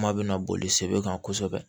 Kuma bɛna boli sɛbɛ kan kosɛbɛ